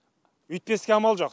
өйтпеске амал жоқ